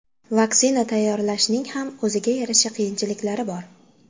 Vaksina tayyorlashning ham o‘ziga yarasha qiyinchiliklari bor.